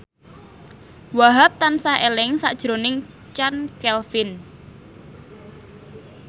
Wahhab tansah eling sakjroning Chand Kelvin